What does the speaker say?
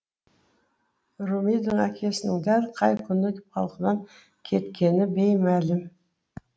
румидің әкесінің дәл қай күні балқыдан кеткені беймәлім